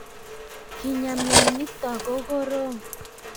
Kenyaa mionitok ko korom